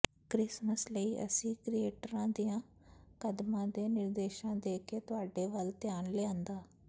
Christmas ਲਈ ਅਸੀਂ ਕ੍ਰਿਏਟ੍ਰਾਂ ਦੀਆਂ ਕਦਮਾਂ ਦੇ ਨਿਰਦੇਸ਼ਾਂ ਦੇ ਕੇ ਤੁਹਾਡੇ ਵੱਲ ਧਿਆਨ ਲਿਆਂਦਾ